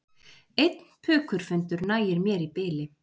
Einn pukurfundur nægir mér í bili